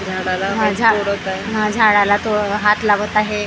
हा झा हा झाडाला तो हात लावत आहे .